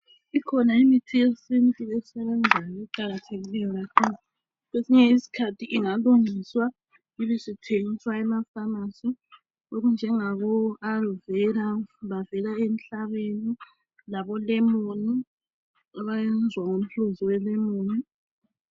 Ikhona imithi yesintu esebenzayo eqakathekileyo kakhulu. Kwesinye isikhathi ingalungiswa ibe isithengiswa emafamasi okunjengabo Alovera bavela emhlabeni, labolemoni abayenzwa ngomhluzi welemoni.